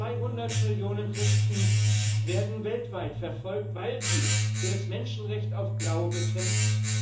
200 Millionen Christen werden weltweit verfolgt, weil sie für das Menschenrecht auf Glaube kämpfen.